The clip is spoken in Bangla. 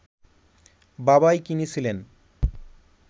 বাবাই কিনেছিলেন